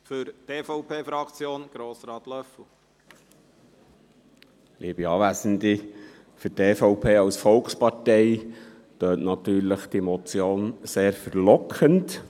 Für die EVP als Volkspartei klingt diese Motion natürlich sehr verlockend.